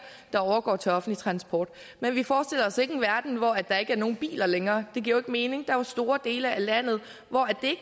der overgår til offentlig transport men vi forestiller os ikke en verden hvor der ikke er nogen biler længere det giver jo mening der er store dele af landet hvor det